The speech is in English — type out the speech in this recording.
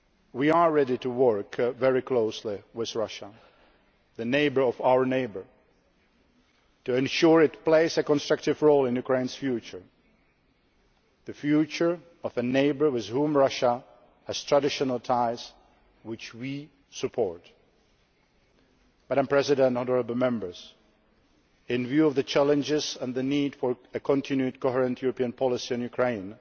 fails. We are ready to work very closely with Russia, the neighbour of our neighbour, to ensure it plays a constructive role in Ukraine's future the future of a neighbour with whom Russia has traditional ties, which we support. Madam President, honourable Members, in the light of the challenges and the need for a continued coherent European policy on